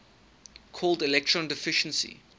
called electron deficiency